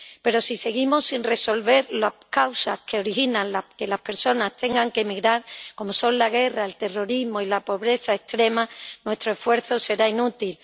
Pero si seguimos sin resolver las causas que originan que las personas tengan que emigrar, como son la guerra, el terrorismo y la pobreza extrema, nuestro esfuerzo será inútil.